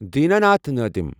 Dina Nath Nadim